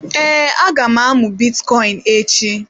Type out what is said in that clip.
Ee, aga m amụ bitcoin echi.